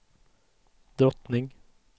drottning